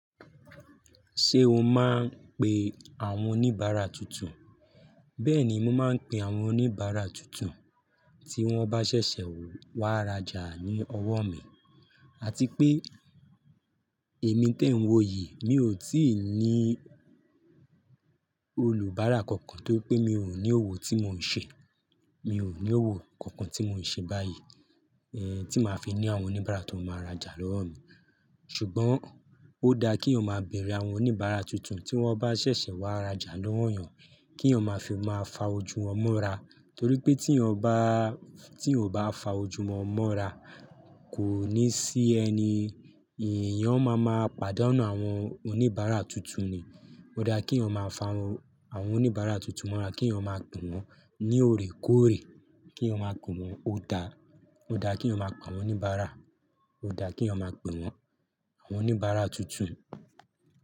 Ṣé o máa ń pe àwọn oníbàárà tuntun? Bẹ́ẹ̀ni, mo máa ń pe àwọn oníbàárà tuntun tí wọ́n bá ṣẹ̀ṣẹ̀ wá rajà ní ọwọ́ mi, àti pé èmi tí ẹ̀ n wo yìí, mi ò tí ì ní olùbárà kankan tó pé mi ò ní òwò tí mò ń ṣe, mi ò ní òwò kankan tí mò ń ṣe báyìí, eh, tí màá fi ní àwọn oníbàárà tó máa rajà lọ́wọ́ mi. Ṣùgbọ́n ó dá kí yan máa bẹẹrẹ àwọn oníbàárà tuntun tí wọ́n bá ṣẹ̀ṣẹ̀ wá rajà lọ́wọ́ èèyàn, kí o máa fi máa fa ojú wọn mọ́ra. Nítorí pé tí yan o bá, tí yan ò bá fa ojú wọn mọ́ra, kò ní sí ẹni, èèyàn ọ má màá padà nù àwọn oníbàárà tuntun ni. Ó dá kí yan máa fa àwọn oníbàárà tuntun mọ́ra, kí èèyàn máa pè wọ́n ní òrè kóòrè, kí èèyàn máa pè wọ́n ó dá, ó dá kí èèyàn máa pe àwọn oníbàárà, ó dá kí o máa pè wọ́n, àwọn oníbàárà tuntun.